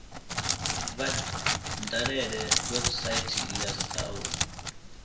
vha dalele website ya south